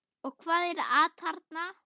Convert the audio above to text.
Og hvað er atarna?